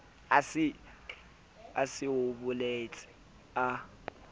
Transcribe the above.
a se a boletse a